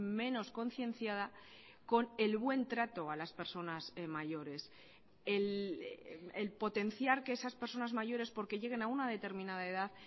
menos concienciada con el buen trato a las personas mayores el potenciar que esas personas mayores porque lleguen a una determinada edad